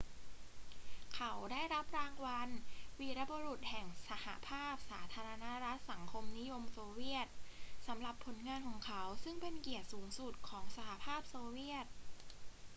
เขาได้รับรางวัล วีรบุรุษแห่งสหภาพสาธารณรัฐสังคมนิยมโซเวียต สำหรับผลงานของเขา ซึ่งเป็นเกียรติสูงสุดของสหภาพโซเวียต